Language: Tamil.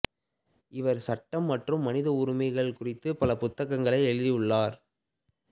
இவர் சட்டம் மற்றும் மனித உரிமைகள் குறித்துப் பல புத்தகங்களை எழுதியுள்ளார்